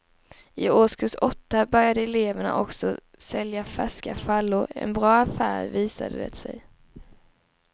I årskurs åtta började eleverna också sälja färska frallor, en bra affär visade det sig.